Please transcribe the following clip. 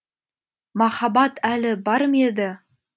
махаббат әлі бар ма еді